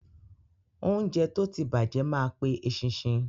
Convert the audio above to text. Óúnjẹ tó ti bàjẹ́ ma pe eṣinṣin.